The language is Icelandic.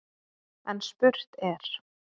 En spurt er: